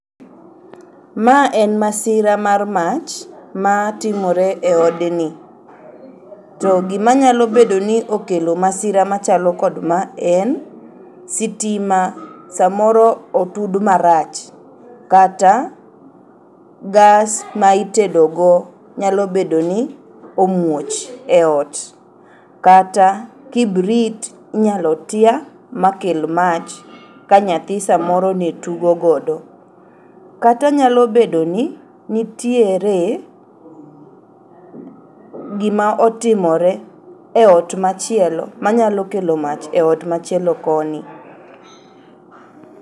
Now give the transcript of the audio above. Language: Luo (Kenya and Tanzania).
Ma en masira mar mach matimore eodni. To gimanyal obedoni okelo masira machalo kod maa en, sitima samoro otud marach kata gas ma itedogo nyalobedoni omuoch eot. Kata kibrit inyalo tia makel mach kanyathi samoro netugogodo. Kata nyalobedoni nitiere gima otimore eot machielo manyalo kelo mach eot machielo koni.